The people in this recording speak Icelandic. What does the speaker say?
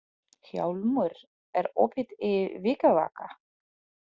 Hjálmur, er opið í Vikivaka?